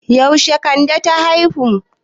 Yaushe kande ta haihu?